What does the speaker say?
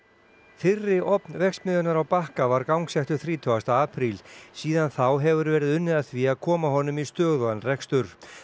fyrri ofn verksmiðjunnar á Bakka var gangsettur þrítugasta apríl síðan þá hefur verið unnið að því að koma honum í stöðugan rekstur